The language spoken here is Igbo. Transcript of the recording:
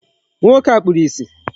Nwoke a kpuru ìsì.